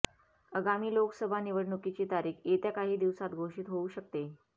आगामी लोकसभा निवडणुकीची तारीख येत्या काही दिवसांत घोषित होऊ शकते